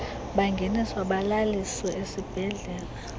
bangeniswa balaliswe ezibhedlele